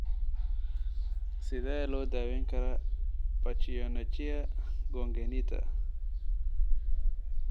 Sidee loo daweyn karaa pachyonychia congenita?